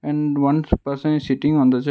hmm on person is seating on the chai--